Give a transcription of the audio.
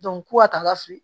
ko ka taga feere